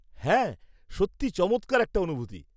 হ্যাঁ, সত্যিই চমৎকার একটা অনুভূতি।